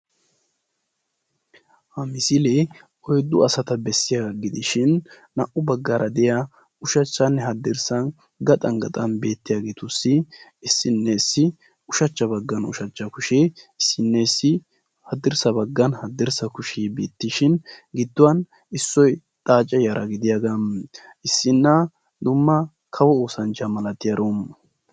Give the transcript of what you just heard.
ha misiliee oyddu asata bessiyaaga gidishin ushachchanne haddirssan gaxxan gaxxan issinessi ushachcha baggan ushachcha kushee, issinessi haddirssa baggan hadirssa kushee beetteshin gidduwaan issoy xaace yaraa gidiyaa issina dumma kawo oosanchcha malatiyaaro.